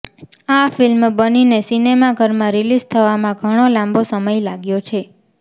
આ ફિલ્મ બનીને સિનેમાઘરમાં રિલીઝ થવામાં ઘણો લાંબો સમય લાગ્યો છે